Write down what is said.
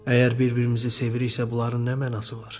Əgər bir-birimizi seviriksə, bunların nə mənası var?